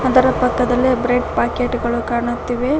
ಅದರ ಪಕ್ಕದಲ್ಲಿ bread packet ಗಳು ಕಾಣುತ್ತಿವೆ.